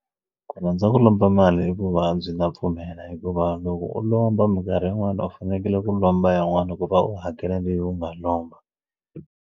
Ku rhandza ku lomba mali i vuvabyi ndza pfumela hikuva loko u lomba minkarhi yin'wani u fanekele ku lomba yin'wana ku va u hakela leyi u nga lomba.